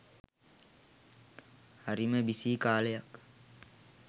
හරිම බිසී කාලයක්